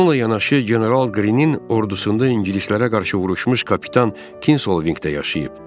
Bununla yanaşı general Qrinin ordusunda ingilislərə qarşı vuruşmuş kapitan Kinsolvinqdə yaşayıb.